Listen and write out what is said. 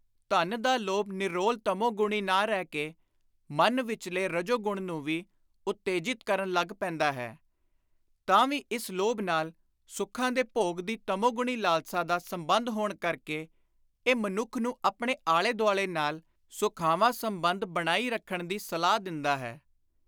ਧਨ ਦਾ ਲੋਭ ਨਿਰੋਲ ਤਮੋਗੂਣੀ ਨਾ ਰਹਿ ਕੇ ਮਨ ਵਿਚਲੇ ਰਜੋਗੁਣ ਨੂੰ ਵੀ ਉਤੇਜਿਤ ਕਰਨ ਲੱਗ ਪੈਂਦਾ ਹੈ, ਤਾਂ ਵੀ ਇਸ ਲੋਭ ਨਾਲ ਸੁਖਾਂ ਦੇ ਭੋਗ ਦੀ ਤਮੋਗੁਣੀ ਲਾਲਸਾ ਦਾ ਸੰਬੰਧ ਹੋਣ ਕਰਕੇ ਇਹ ਮਨੁੱਖ ਨੂੰ ਆਪਣੇ ਆਲੇ-ਦੁਆਲੇ ਨਾਲ ਸੁਖਾਵਾਂ ਸੰਬੰਧ ਬਣਾਈ ਰੱਖਣ ਦੀ ਸਲਾਹ ਦਿੰਦਾ ਹੈ।